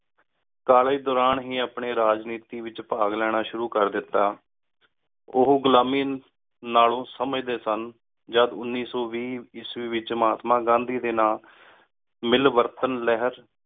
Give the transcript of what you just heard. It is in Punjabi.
ਕਾੱਲੇਜ ਦੋਰਾਨ ਹੀ ਆਪਨੇ ਰਾਜਨੀਤੀ ਵਿਚ ਭਾਗ ਲੇਣਾ ਸ਼ੁਰੂ ਕਰ ਦਿਤਾ। ਓਹੋ ਗੁਲਮਿ ਨਾਲੋ ਸਮਝ ਦੇ ਸਨ ਜਦ ਉੰਨੀ ਸੌ ਵੀਹ ਈਸਵੀ ਵਿਚ ਮਹਾਤਮਾ ਗਾਂਧੀ ਦੇ ਨਾਲ ਮਿਲ ਵਰਤਨ ਲੇਹਰ